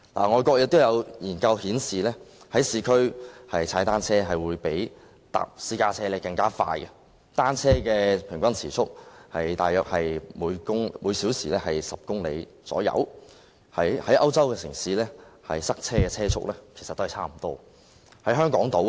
外國有研究顯示，在市區踏單車會比乘搭私家車更快，單車的平均時速大約是每小時10公里，與在歐洲城市塞車時的車速差不多。